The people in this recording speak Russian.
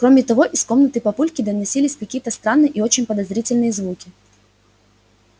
кроме того из комнаты папульки доносились какие-то странные и очень подозрительные звуки